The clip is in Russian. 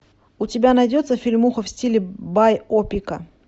у тебя найдется фильмуха в стиле байопика